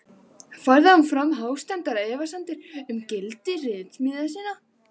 Færði hann fram hástemmdar efasemdir um gildi ritsmíða sinna.